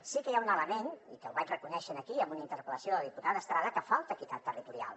sí que hi ha un element i que el vaig reconèixer aquí en una interpel·lació de la diputada estrada que falta equitat territorial